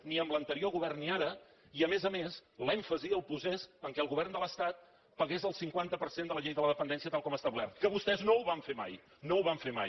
ni en l’anterior govern ni ara i a més a més l’èmfasi el posés que el govern de l’estat pagués el cinquanta per cent de la llei de la dependència tal com ha establert que vostès no ho van fer mai no ho van fer mai